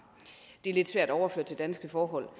det er lidt svært at overføre til danske forhold